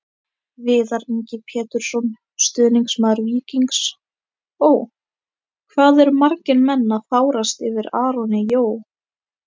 Viðar Ingi Pétursson, stuðningsmaður Víkings Ó.: Hvað eru menn að fárast yfir Aroni Jó?